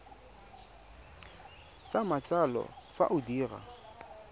sa matsalo fa o dira